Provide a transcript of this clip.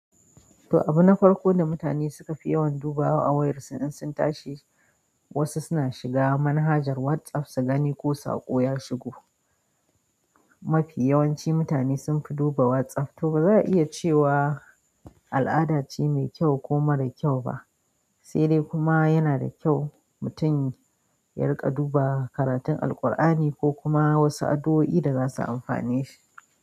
To, abu na farko da mutane suka fi yawan dubawa a wayarsu in sun tashi, wasu suna shiga manhajar WhatsApp su gani ko saƙo ya shigo. Mafi yawanci mutane sunfi duba WhatsApp. To ba za a iya cewa al'ada ce mai kyau ko mara kyau ba, sai dai kuma yana da kyau mutum ya riƙa duba karatun Alqur'ani ko kuma wasu addu'o'i da za su amfane shi.